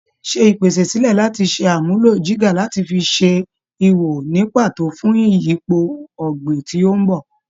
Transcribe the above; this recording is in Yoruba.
Ṣe ìpèsè sílẹ̀ láti ṣe àmúlò jígà láti fi ṣe ihò ní pàtó fún ìyípo ọ̀gbìn tí ó ń bò.